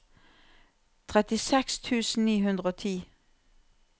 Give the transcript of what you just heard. trettiseks tusen ni hundre og ti